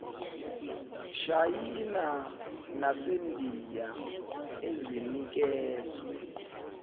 shayina nasendiya ezinikezwe